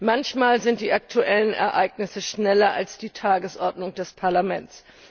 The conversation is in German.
Manchmal sind die aktuellen Ereignisse schneller als die Tagesordnung des Parlaments.